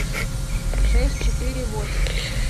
шесть четыре восемь